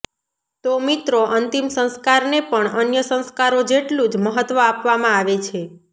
તો મિત્રો અંતિમ સંસ્કારને પણ અન્ય સંસ્કારો જેટલું જ મહત્વ આપવામાં આવે છે